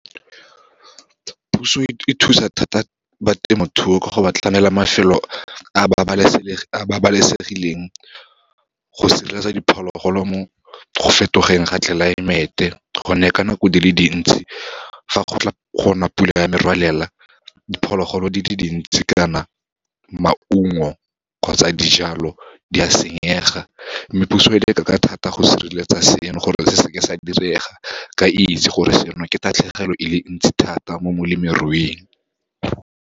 Puso e thusa thata ba temothuo, ka go ba tlhamela mafelo a babalesegileng go sireletsa diphologolo mo go fetogeng ga tlelaemete, gonne ka nako di le dintsi fa gona pula ya merwalela, diphologolo di le dintsi kana maungo, kgotsa dijalo, di a senyega. Mme puso e leka ka thata go sireletsa seno gore re seke sa direga, ke itse gore seno ke tatlhegelo e le ntsi thata mo molemiruing.